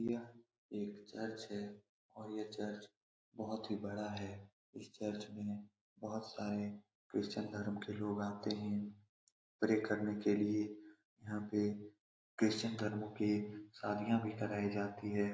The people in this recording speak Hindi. यह एक चर्च है और यह चर्च बहुत ही बड़ा है इस चर्च में बहुत सारे लोग क्रिस्चियन धर्म के लोग आते है प्रे करने के लिए यहाँ पे क्रिस्चियन धर्म की शादियाँ भी कराइ जाती है ।